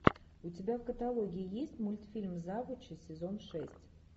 у тебя в каталоге есть мультфильм завучи сезон шесть